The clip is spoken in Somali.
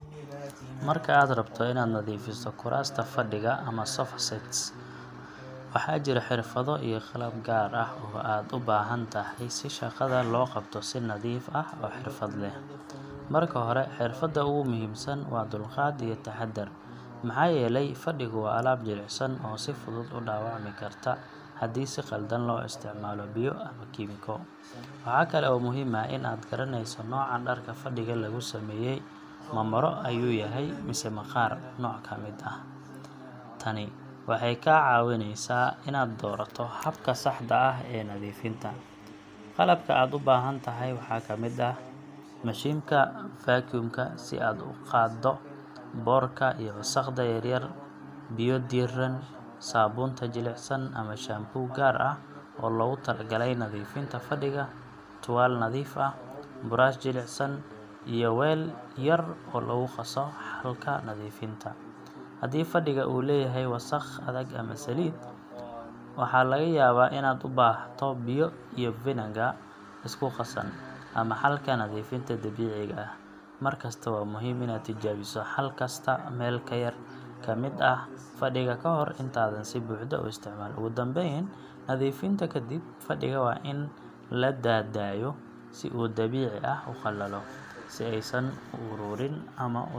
Marka aad rabto inaad nadiifiso kuraasta fadhiga ama sofa sets, waxaa jira xirfado iyo qalab gaar ah oo aad u baahan tahay si shaqada loo qabto si nadiif ah oo xirfad leh. Marka hore, xirfadda ugu muhiimsan waa dulqaad iyo taxaddar, maxaa yeelay fadhigu waa alaab jilicsan oo si fudud u dhaawacmi karta haddii si qaldan loo isticmaalo biyo ama kiimiko. Waxaa kale oo muhiim ah in aad garanayso nooca dharka fadhiga lagu sameeyay ma maro ayuu yahay mise maqaarka nooc ka mid ah. Tani waxay kaa caawineysaa inaad doorato habka saxda ah ee nadiifinta. Qalabka aad u baahan tahay waxaa ka mid ah: mashiinka vacuum ka si aad u qaaddo boodhka iyo wasakhda yar yar, biyo diirran, saabuunta jilicsan ama shampoo gaar ah oo loogu talagalay nadiifinta fadhiga, tuwaal nadiif ah, buraash jilicsan, iyo weel yar oo lagu qaso xalka nadiifinta. Haddii fadhiga uu leeyahay wasakh adag ama saliid, waxaa laga yaabaa inaad u baahato biyo iyo vinigar isku qasan, ama xalka nadiifinta dabiiciga ah. Mar kasta waa muhiim inaad tijaabiso xal kasta meel yar ka mid ah fadhiga ka hor intaadan si buuxda u isticmaalin. Ugu dambeyn, nadiifinta kadib, fadhiga waa in la daa daayo si uu si dabiici ah u qalalo, si aysan u ururin ama u samaynin waxyeelo.